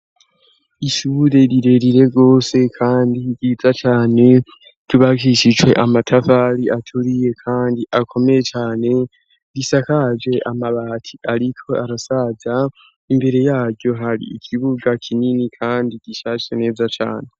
Ishure rirerire rwose kandi ryiza cane, ryubakishijwe amatafari aturiye kandi akomeye cane, risakaje amabati ariko arasaza, imbere yaryo hari ikibuga kinini kandi gishashe neza cane.